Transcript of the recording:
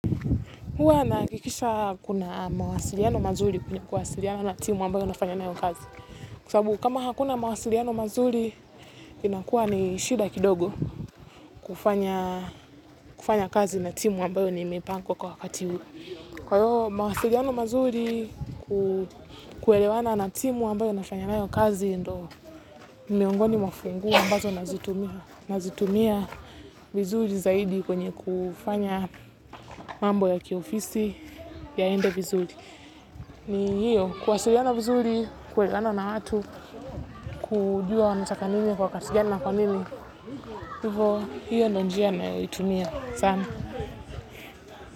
Huwa nakikisha kuna mawasiliano mazuri kwenye kuwasiliana na timu ambayo nafanya nayo kazi. Kwa sababu kama hakuna mawasiliano mazuri, inakuwa ni shida kidogo kufanya kazi na timu ambayo nimepangwa kwa wakati huu. Kwa hiyo mawasiliano mazuri kuelewana na timu ambayo nafanya nayo kazi ndo miongoni funguo ambazo nazitumia. Nazitumia vizuri zaidi kwenye kufanya mambo ya kiofisi yaenda vizuri. Ni hiyo, kuwasiliana vizuri, kuelewana na watu, kujua wanataka nini kwa kati gani kwa nini, hivyo hiyo ndo njia naitumia sana.